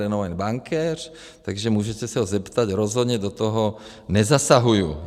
Renomovaný bankéř, takže můžete se ho zeptat, rozhodně do toho nezasahuju.